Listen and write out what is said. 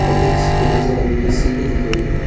और एक केबल से लगी हुई सीढ़ी दिख रही है।